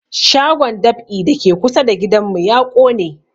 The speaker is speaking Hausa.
Shagon dab'i da ke kusa da gidan mu ya ƙone